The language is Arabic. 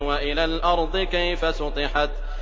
وَإِلَى الْأَرْضِ كَيْفَ سُطِحَتْ